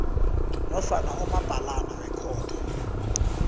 nofana umabhalana wekhotho